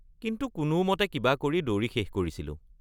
কিন্তু কোনোমতে কিবা কৰি দৌৰি শেষ কৰিছিলোঁ।